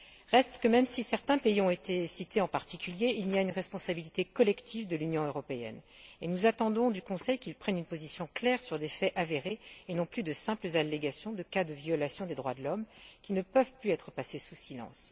Reste que, même si certains pays ont été cités en particulier, il y a une responsabilité collective de l'Union européenne, et nous attendons du Conseil qu'il prenne une position claire sur des faits avérés, au lieu de se contenter de simples allégations de cas de violations des droits de l'homme, qui ne peuvent plus être passés sous silence.